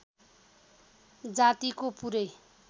जातिको पुरै